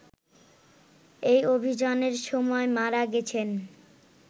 এই অভিযানের সময় মারা গেছেন